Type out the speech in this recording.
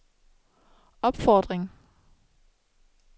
opfordring